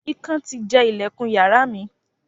Ikán ti jẹ ìlẹ̀kùn yàrá mi.